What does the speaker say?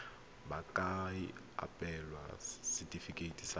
ba ka abelwa setefikeiti sa